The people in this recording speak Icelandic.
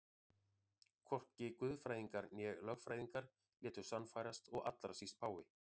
Hvorki guðfræðingar né lögfræðingar létu sannfærast og allra síst páfi.